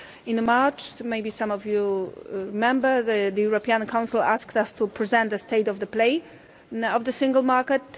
In March, maybe some of you remember, the European Council asked us to present the state of play of the Single Market.